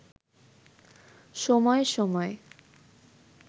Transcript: সময় সময়